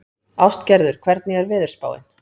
Ástgerður, hvernig er veðurspáin?